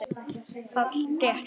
PÁLL: Rétt!